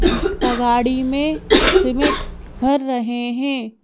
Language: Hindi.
तगाड़ी में सिमेंट भर रहे हैं।